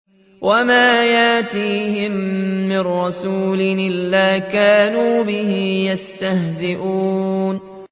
وَمَا يَأْتِيهِم مِّن رَّسُولٍ إِلَّا كَانُوا بِهِ يَسْتَهْزِئُونَ